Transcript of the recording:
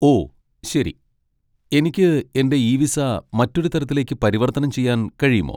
ഓ, ശരി. എനിക്ക് എന്റെ ഇ വിസ മറ്റൊരു തരത്തിലേക്ക് പരിവർത്തനം ചെയ്യാൻ കഴിയുമോ?